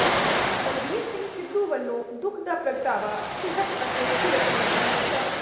ਬਲਬੀਰ ਸਿੰਘ ਸਿੱਧੂ ਵੱਲੋਂ ਦੁੱਖ ਦਾ ਪ੍ਰਗਟਾਵਾ ਸਿਹਤ ਅਤੇ ਕਿਰਤ ਮੰਤਰੀ ਸ